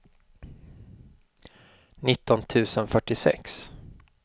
nitton tusen fyrtiosex